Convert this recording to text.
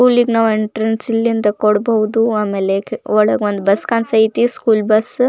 ಸ್ಕೂಲಿಗೆ ನಾವ್ ಎಂಟ್ರೆನ್ಸ್ ಇಲ್ಲಿ ಅಂದ ಕೊಡಬಹುದು ಆಮೇಲೆ ಒಳಗ ಒಂದ್ ಬಸ್ ಕಂಸ್ಥೈತಿ ಸ್ಕೂಲ್ ಬಸ್ .